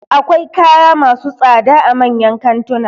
Akwai kaya masu tsada a manyan kantuna